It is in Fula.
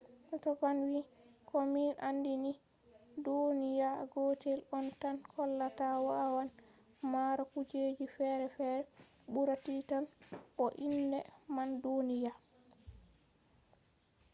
stofan wii ko min andi ni duniya gotel on tan hollata wawan mara kujeji ferefere ɓura titan bo inde man duniya earth